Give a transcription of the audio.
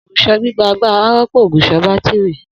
Ogùṣọ gbigba agbara rọpo ògùṣọ batiri.